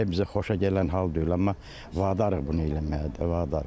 Bizi xoşa gələn hal deyil, amma vadarıq bunu eləməyə də, vadarıq.